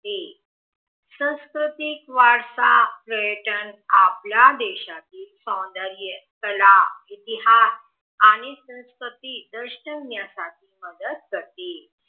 सांस्कृतिक वारसा पर्यटन आपल्या देशातील सौंदर्य कला इतिहास आणि संस्कृती दर्शवण्यासाठी मदत करते